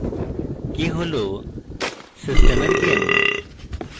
k হল সিস্টেমের gain